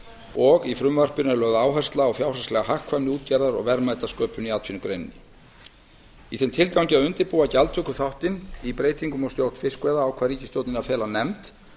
og í frumvarpinu er lögð áhersla á fjárhagslega hagkvæmni útgerðar og verðmætasköpun í atvinnugreininni í þeim tilgangi að undirbúa gjaldtökuþáttinn í breytingum á stjórn fiskveiða ákvað ríkisstjórnin að fela nefnd